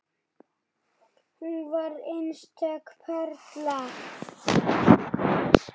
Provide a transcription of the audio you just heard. Hún var einstök perla.